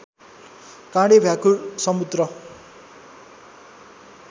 काँडे भ्याकुर समुद्र